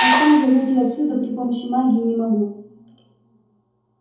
а сам я выйти отсюда при помощи магии не могу